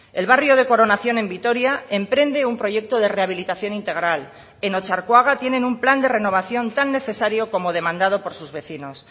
el barrio de coronación en vitoria emprende un proyecto de rehabilitación integral en otxarkoaga tienen un plan de renovación tan necesario como demandado por sus vecinos